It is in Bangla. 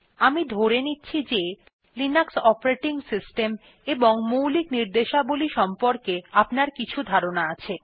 আমি ধরে নিচ্ছি লিনাক্স অপারেটিং সিস্টেম এবং মৌলিক নির্দেশাবলী সম্পর্কে আপনার কিছু ধারণা আছে